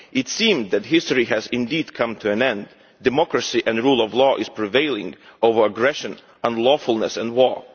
It seemed that history has indeed come to an end democracy and the rule of law are prevailing over aggression and unlawfulness and war.